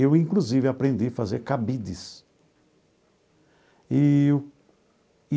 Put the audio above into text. Eu, inclusive, aprendi a fazer cabides eee.